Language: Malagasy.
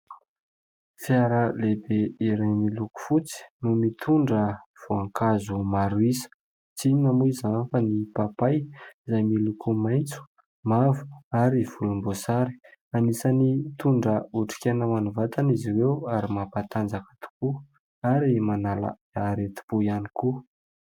Fiara lehibe iray miloko fotsy no mitondra voankazo maro isa, tsy inona moa izany fa ny papay izay miloko maitso, mavo ary volomboasary, anisan'ny mitondra otrik'aina ho an'ny vatana izy ireo ary mampatanjaka tokoa ary manala aretim-po ihany koa.